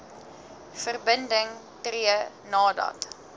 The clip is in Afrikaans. verbinding tree nadat